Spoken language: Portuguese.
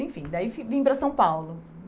Enfim, daí vim para São Paulo.